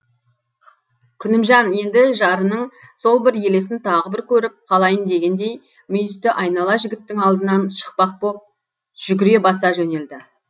күнімжан енді жарының сол бір елесін тағы бір көріп қалайын дегендей мүйісті айнала жігіттің алдынан шықпақ боп жүгіре баса жөнелді